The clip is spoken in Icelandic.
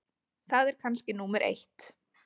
Það er kannski númer eitt.